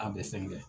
A bɛ fɛn kɛ